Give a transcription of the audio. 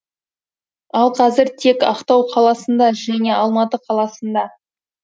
ал қазір тек ақтау қаласында және алматы қаласында